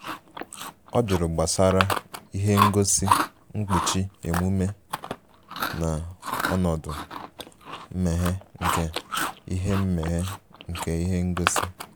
ọ jụrụ gbasara ihe ngosi nkpuchi emume na ọnọdụ mmeghe nke ihe mmeghe nke ihe ngosi